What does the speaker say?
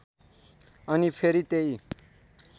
अनि फेरि त्यही